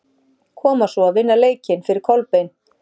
Koma svo, vinna leikinn fyrir Kolbein!